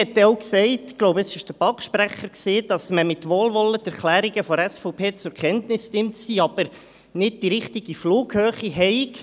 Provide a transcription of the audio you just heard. Man hat auch gesagt – ich glaube, es war der BaK-Sprecher – dass man die Erklärungen der SVP mit Wohlwollen zur Kenntnis nehme, diese jedoch nicht die richtige Flughöhe hätten.